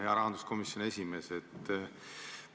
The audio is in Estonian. Hea rahanduskomisjoni esimees!